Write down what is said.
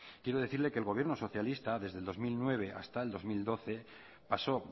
quiero decirle que el gobierno socialista desde el dos mil nueve hasta el dos mil doce pasó